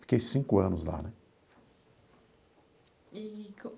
Fiquei cinco anos lá né.